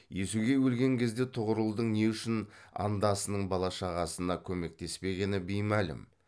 иесугей өлген кезде тұғырылдың не үшін андасының бала шағасына көмектеспегені беймәлім